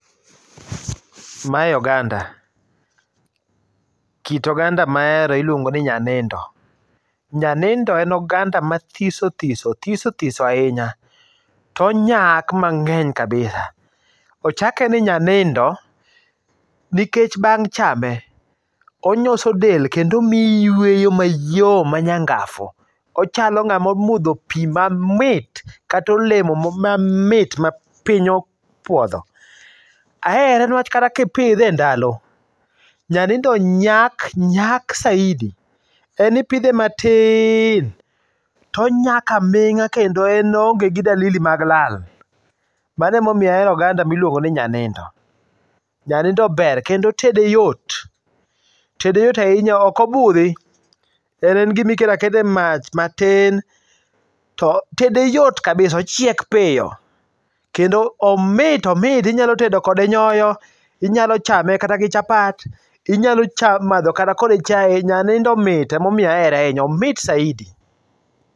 Mae oganda. Kit oganda ma ahero iluongo ni nyanindo. Nyanindo en oganda mathiso thiso, thiso thiso ahinya. To onyak mang'eny kabisa. Ochake ni nyanindo nikech bang' chame onyoso del kendo omiyo iyweyo mayom manyangafu. Ochalo ng'ama omodho pi mamit, kata olemo mamit ma piny opuodho. Ahere newach kata ka ipidhe e ndalo, nyanindo nyak, nyak saidi. En ipidhe matin to onyak aming'a kendo en oonge gi dalili mag lal. Mano ema omiyo ahero oganda ma iluongo ni nyanindo. Nyanindo ber kendo tede yot. Tede yot ahinya, ok obudhi. En en gima iketo aketa e mach matin, to tede yot kabisa. Ochiek piyo, kendo omit omit inyalo tedo kode nyoyo, inyalo chame kata gi chapat, inyalo chamo madho kata kode kata chae, Nyanindo mit ema omiyo ahere ahinya. Omit saidi.